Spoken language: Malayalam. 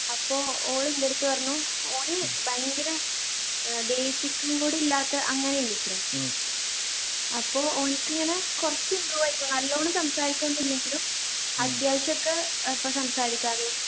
അപ്പൊ ഓള് ൻ്റെടുത്ത് പറഞ്ഞു ഓന് ഭയങ്കര ഏർ basic ഉം കൂടി ഇല്ലാത്ത അങ്ങനെയെനുത്രെ അപ്പൊ ഓനിക്ക് ഇങ്ങനെ കുറച്ച് improve ആയിക്കു നല്ലോണം സംസാരിക്കുവോന്നും ഇല്ലെങ്കിലും അത്യാവശ്യക്കെ ഇപ്പൊ സംസാരിക്കാനും